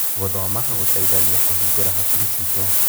Gũthoma gũteithagia kũhingũra hakiri ciitũ.